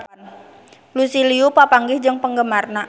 Lucy Liu papanggih jeung penggemarna